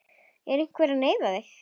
Er einhver að neyða þig?